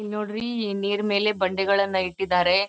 ಇಲ್ನೋಡ್ರಿ ನೀರ್ ಮೇಲೆ ಬಂಡೆಗಳನ್ನ ಇಟ್ಟಿದ್ದಾರೆ.